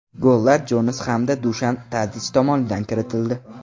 Gollar Jonas hamda Dushan Tadich tomonidan kiritildi.